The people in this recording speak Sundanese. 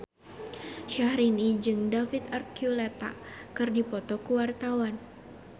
Syahrini jeung David Archuletta keur dipoto ku wartawan